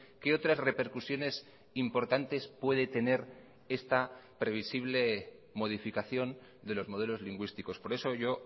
qué otras repercusiones importantes puede tener esta previsible modificación de los modelos lingüísticos por eso yo